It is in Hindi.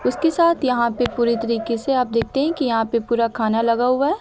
उसके साथ यहां पे पूरे तरीके से आप देखते हैं कि यहां पे पूरा खाना लगा हुआ है।